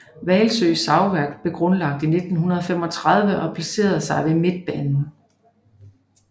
Hvalsø Savværk blev dog grundlagt i 1935 og placerede sig ved Midtbanen